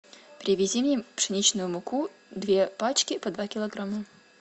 привези мне пшеничную муку две пачки по два килограмма